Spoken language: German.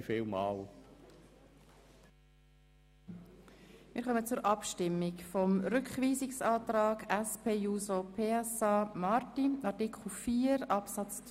Wir kommen zur Abstimmung über den Rückweisungsantrag der SP-JUSO-PSA-Fraktion für einen neuen Artikel 4 Absatz 3.